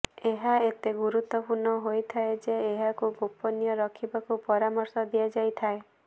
ଏହା ଏତେ ଗୁରୁତ୍ବପୂର୍ଣ୍ଣ ହୋଇଥାଏ ଯେ ଏହାକୁ ଗୋପନୀୟ ରଖିବାକୁ ପରାମର୍ଶ ଦିଆଯାଇଥାଏ